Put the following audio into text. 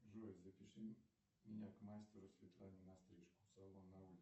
джой запиши меня к мастеру светлане на стрижку салон